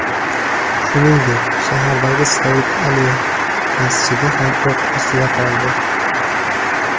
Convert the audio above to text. Shuningdek, shahardagi Said Ali masjidi ham o‘q ostida qoldi.